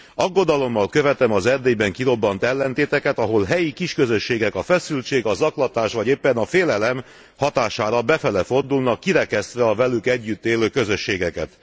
Aggodalommal követem az Erdélyben kirobbant ellentéteket, ahol helyi kisközösségek a feszültség, a zaklatás vagy éppen a félelem hatására befelé fordulnak, kirekesztve a velük együtt élő közösségeket.